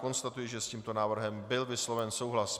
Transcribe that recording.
Konstatuji, že s tímto návrhem byl vysloven souhlas.